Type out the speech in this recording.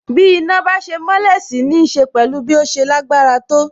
Bí iná bá ṣe mọ́lẹ̀ sì nííṣe pẹ̀lú bí ó ṣe lágbára tó.